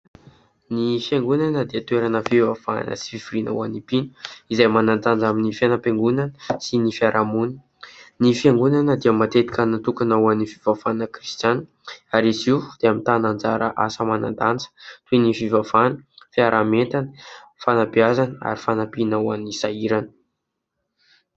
Ny fiangonana dia toerana fivavahana sy fivoriana ho any mpino izay manan-danja amin'ny fiainam-piangonana sy ny fiaraha-monina. Ny fiangonana dia matetika natokana ho an'ny fivavahana kristianina ary izy dia mitana anjara asa manan-danja toy ny fivavahana fiaraha- mientana, fanabeazana ary fanampiana ho any sahirana.